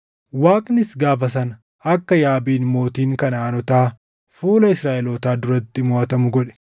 Waaqnis gaafa sana akka Yaabiin mootiin Kanaʼaanotaa fuula Israaʼelootaa duratti moʼatamu godhe.